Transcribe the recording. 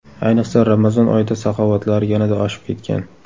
Ayniqsa, Ramazon oyida saxovatlari yanada oshib ketgan.